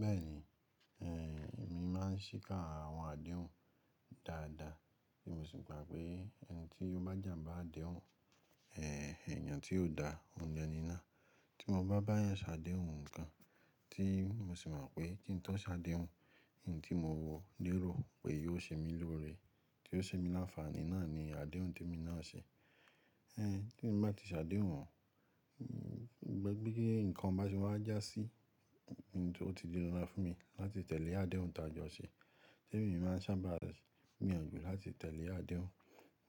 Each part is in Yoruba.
Bẹ́ẹ̀ni, ehn, èmi máà ń síkà àwọn àdéhùn dáadáa, èmi sì gbà pé ẹni tí ó bá jàmbá àdéhùn, ehn, èèyàn tí ó dá òun ni eníná. Tí mo bá bá eeyàn sá àdéhùn ǹkan, tí mo sì mọ̀ pé tí n tọ́ ṣàdéhùn, ohun tí mo wò lérò pé yóò ṣe mí lóore, tí yóò ṣe mí láǹfààní náà ni àdéhùn tí èmi náà ṣe. Ehn, tí èmi bá ti ṣàdéhùn wọ́n, gbagbé nǹkan bá ṣe wáa jásí ohun tó ti ni ra fún mi láti tẹ̀lé àdéhùn tájọ ṣe. Té èmi máa sábà mì ọ̀jù láti tẹ̀lé àdéhùn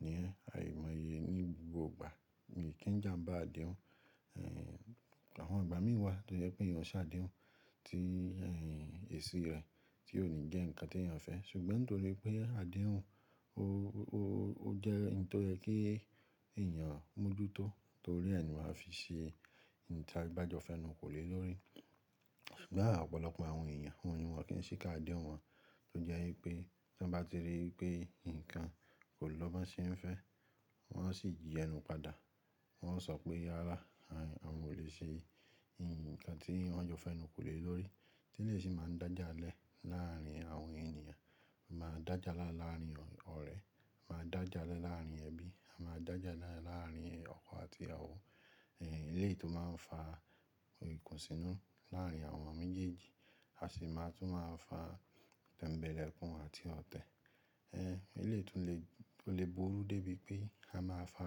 ni? Àìmọye ni gbogbo ìgbà, mi kì í jàmbá àdéhùn. Ehn, àwọn ìgbà mìíràn wà tó jẹ́ pé èèyàn ṣàdéhùn tí, ehn, èsí rẹ̀, tí ó ní jẹ́ ǹkan tí èèyàn fẹ́. Ṣùgbọ́n torí pé àdéhùn ó, ó, ó jẹ́ nǹkan tó yẹ kí èèyàn mójútó torí ẹ ni mà á fi ṣe nǹkan tí ẹ bájo fẹ́nù kò lè lóore. Ṣùgbọ́n à ọ̀pọ̀lọpọ̀ àwọn èèyàn wọ́n wò kí ń ṣíká àdéhùn wọn, tó jẹ́ wipé tí wọ́n bá ti rí i pé nǹkan kò lọ́ bọ́n ṣe ń fẹ́, wọ́n ó sì yi ẹnu padà. Wọ́n ó sọ pé, "Rárá, à, à n ò lè ṣe nǹkan tí wọ́n jọ fẹ́nu kò lè lóore." Tí lè sì máa ń dájálẹ̀ láàrin àwọn èèyàn, máa dájálà láàrin ọ̀rẹ́, máa dájálẹ̀ láàrin ẹbí, máa dájálẹ̀ láàrin ọkọ àti ìyàwó. Ehn, eléyìí tó máa ń fa ikùnsínú láàrin àwọn méjèèjì, a sì máa tún máa fà tẹ́mbẹ̀lẹ́kun àti ọ̀tẹ̀. Ehn, eléyìí tó lè, tó lè burú débi pé a máa fà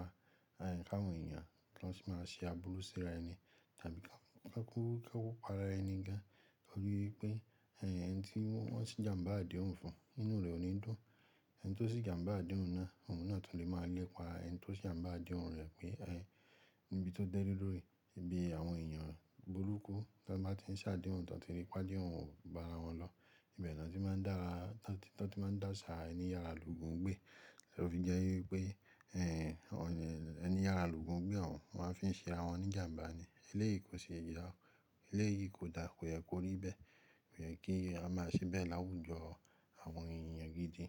kàwọn èèyàn tó sì máa ṣe àbúrú síra ẹni, tàbí ká kú, ká kú pa ara ẹni gan torí pé, ehn, ẹni tí wọ́n sì jàmbá àdéhùn fún ínú rẹ̀ ò ní dùn. Ẹni tó sì jàmbá àdéhùn náà, òun náà tún lè máa lẹ́pa ẹni tó se jàmbá àdéhùn rẹ̀ pé, ehn, níbi tó dẹ́rí lórí, ibi àwọn èèyàn burúkú tí wọ́n bá ti ń ṣàdéhùn tí wọ́n ti ríi pé àdéhùn ò bá ara wọn lọ. Ibẹ̀ ni wọ́n ti máa ń dára, tí wọ́n ti máa ń dàṣà ẹni yára l'òògùn gbẹ́. Torí jẹ́ wípé, ehn, ọ̀nà ẹni yára l'òògùn gbẹ́ òun wọ́n á fi ṣe ara wọn ní jàmbá ni. Eléyìí kò ṣe é já, eléyìí kò dáa, kò yẹ kó rí bẹ́ẹ̀. Kò yẹ kí a máa ṣe bẹ́ẹ̀ láwùjọ àwọn èèyàn gidi.